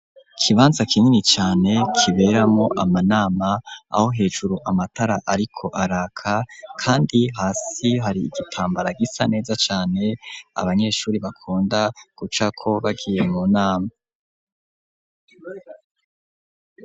Ikibanza kinini cane kiberamwo amanama ,aho hejuru amatara ariko araka kandi hasi hari igitambara gisa neza cane, abanyeshuri bakunda gucako bagiye mu nama.